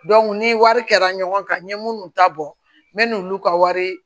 ni wari kɛra ɲɔgɔn kan n ye minnu ta bɔ n bɛ n'olu ka wari